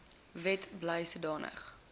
wet bly sodanige